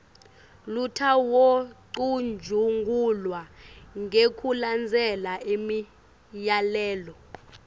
lutawucutjungulwa ngekulandzela imiyalelo